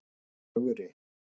Ögri